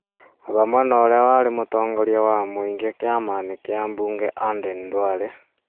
hamwe na ũrĩa warĩ mũtongoria wa mũingĩ kĩama-inĩ kĩa mbunge Aden Duale,